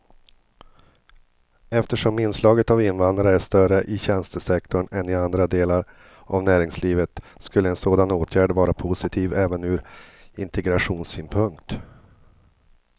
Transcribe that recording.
Eftersom inslaget av invandrare är större i tjänstesektorn än i andra delar av näringslivet skulle en sådan åtgärd vara positiv även ur integrationssynpunkt.